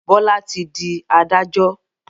Bola tí dì adájọ́.